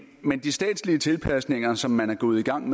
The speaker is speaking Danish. med de statslige tilpasninger som man er gået i gang